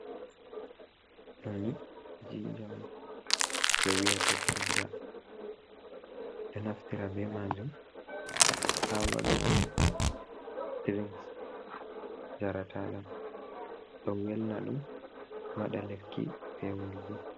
Noni jinnjam ɓo wiyata jinnja, ɗo naftira be maajum haa waɗugo dirigs njarataaɗam, ɗo welna ɗum, ɗo waɗa lekki peewol bo.